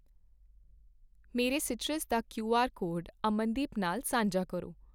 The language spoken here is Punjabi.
ਮੇਰਾ ਸੀਟਰਸ ਦਾ ਕਿਉਆਰ ਕੋਡ ਅਮਨਦੀਪ ਨਾਲ ਸਾਂਝਾ ਕਰੋ